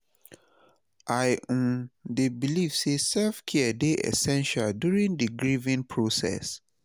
I um dey believe say self-care dey essential during di grieving process.